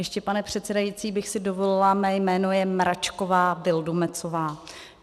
Ještě, pane předsedající, bych si dovolila, mé jméno je Mračková Vildumetzová.